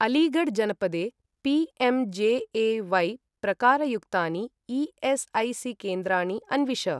अलीगढ़् जनपदे पी.एम्.जे.ए.व्हाय्. प्रकारयुक्तानि ई.एस्.ऐ.सी.केन्द्राणि अन्विष।